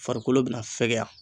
Farikolo bina fɛgɛya